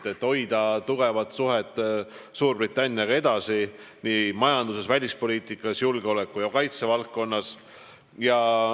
Me tahame hoida tihedaid suhteid Suurbritanniaga edaspidigi nii majanduses, välispoliitikas kui ka julgeoleku ja kaitse valdkonnas.